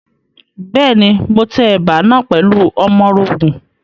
Bẹ́ẹ̀ni, mo tẹ ẹ̀bà náà pẹ̀lú ọmọrogùn.